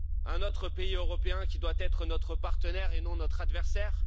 Un autre pays européen qui doit être notre partenaire et non notre adversaire?